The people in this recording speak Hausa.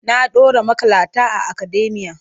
Na ɗora maƙalata a akademiya.